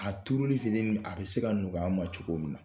A turuni fitini min a bɛ se ka nɔgɔya ma cogo min na